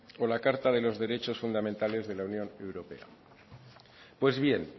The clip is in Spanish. o la carta de los derechos fundamentales de la unión europea pues bien